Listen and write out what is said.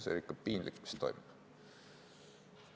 See on ikka piinlik, mis toimub.